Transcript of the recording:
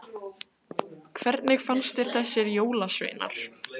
Hersir Aron: Hvernig fannst þér þessir jólasveinar?